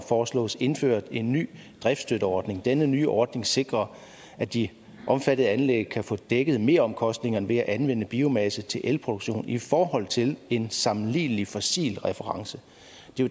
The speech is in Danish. foreslås indført en ny driftsstøtteordning denne nye ordning sikrer at de omfattede anlæg kan få dækket meromkostningen ved at anvende biomasse til elproduktion i forhold til en sammenlignelig fossil reference